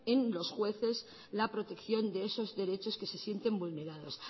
en los jueces la protección de esos derechos que se sienten vulnerados